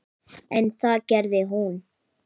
En það gerði hún.